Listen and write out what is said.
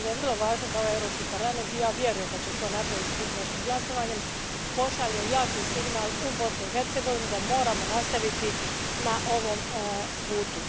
Smatram da je vrlo važno da ovaj Europski parlament, i ja vjerujem da će to napraviti sutrašnjim glasovanjem, pošalje jak signal u Bosnu i Hercegovinu da moramo nastaviti na ovom putu.